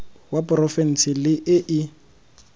wa porofense le e e